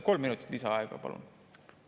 Kolm minutit lisaaega, palun!